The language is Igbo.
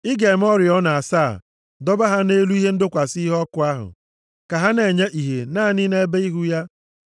“Ị ga-eme oriọna asaa, dọba ha nʼelu ihe ịdọkwasị iheọkụ ahụ, ka ha na-enye ìhè naanị nʼebe ihu ya.